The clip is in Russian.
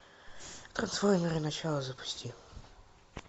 трансформеры начало запусти